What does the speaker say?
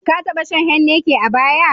Ka taɓa shan Heineken a baya?